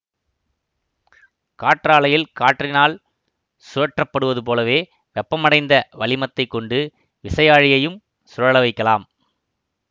காற்றாலையில் காற்றினால் சுழற்றப்படுவதுபோலவே வெப்பமடைந்த வளிமத்தைக் கொண்டு விசையாழியையும் சுழல வைக்கலாம்